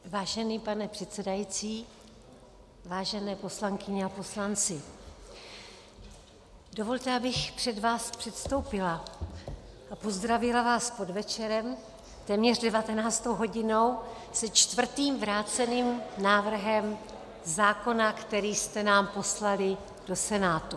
Vážený pane předsedající, vážené poslankyně a poslanci, dovolte, abych před vás předstoupila a pozdravila vás s podvečerem, téměř 19. hodinou, se čtvrtým vráceným návrhem zákona, který jste nám poslali do Senátu.